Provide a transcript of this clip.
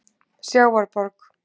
Sjávarborg